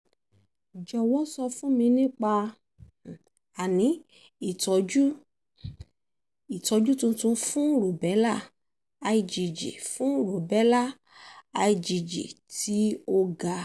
jọ̀wọ́ sọ fún mi nípa um ìtọ́jú um tuntun fún rubella igg fún rubella igg tí ó ga